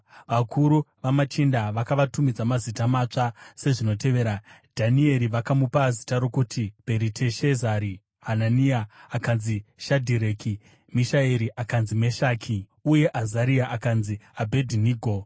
Vakuru vamachinda vakavatumidza mazita matsva sezvinotevera: Dhanieri vakamupa zita rokuti Bheriteshazari; Hanania akanzi Shadhireki; Mishaeri akanzi Meshaki; uye Azaria akanzi Abhedhinego.